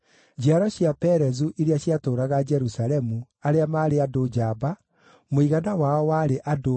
Njiaro cia Perezu iria ciatũũraga Jerusalemu, arĩa maarĩ andũ njamba, mũigana wao warĩ andũ 468.